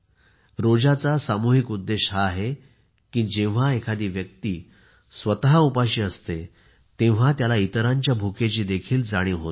रोज्याचा सामुहिक उद्देश हा आहे की जेव्हा एखादी व्यक्ती स्वत उपाशी असते तेव्हा त्याला इतरांच्या भुकेची देखील जाणीव होते